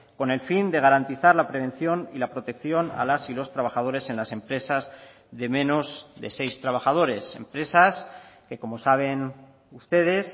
con el fin de garantizar la prevención y la protección a las y los trabajadores en las empresas de menos de seis trabajadores empresas que como saben ustedes